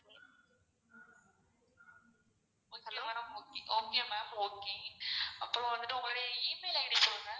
okay madam okay okay ma'am okay அப்றம் வந்துட்டு உங்களோட email ID சொல்லுங்க.